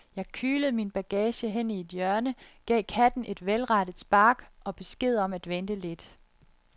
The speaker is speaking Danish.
Jeg kylede min bagage hen i et hjørne, gav katten et velrettet spark og besked om at vente lidt.